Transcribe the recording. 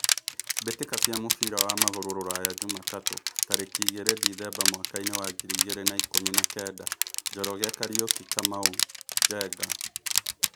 Mbĩ tĩ ka cia mũbira wa magũrũ Ruraya Jumatatũ tarĩ ki igĩ rĩ Dithemba mwakainĩ wa ngiri igĩ rĩ na ikũmi na kenda: Njoroge, Kariuki, Kamau, Njenga.